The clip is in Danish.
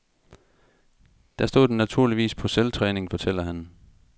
Der stod den naturligvis på selvtræning, fortæller han.